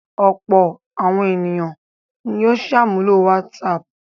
Ọ̀pọ̀ àwọn ènìyàn ni ó ṣàmúlò WhatsApp.